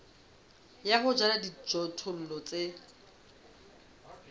ya ho jala dijothollo tse